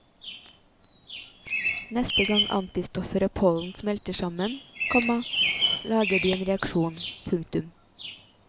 Neste gang antistoffer og pollen smelter sammen, komma lager de en reaksjon. punktum